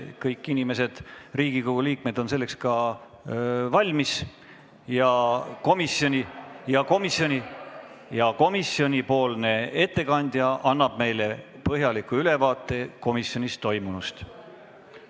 Kõik inimesed, Riigikogu liikmed on selleks valmis ja komisjoni ettekandja annab meile põhjaliku ülevaate komisjonis toimunust.